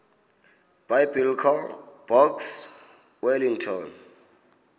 biblecor box wellington